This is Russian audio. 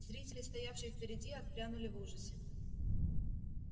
зрители стоявшие впереди отпрянули в ужасе